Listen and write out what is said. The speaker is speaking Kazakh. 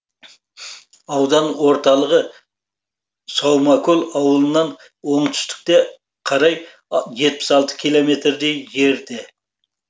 аудан орталығы саумакөл ауылынан оңтүстікке қарай жетпіс алты километрдей жерде